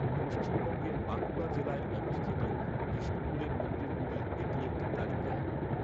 পশ্চিমবঙ্গের বাঁকুড়া জেলায় অবস্থিত বিষ্ণুপুরের মন্দিরগুলির এটি একটি তালিকা।